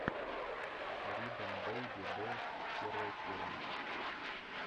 рибон бэйби долс первая серия